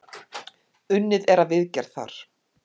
Unnið er að viðgerð þar.